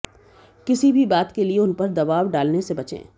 किसी भी बात के लिए उन पर दबाव डालने से बचें